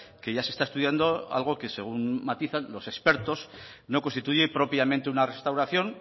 que ya se está estudiando algo que según matizan los expertos no constituye propiamente una restauración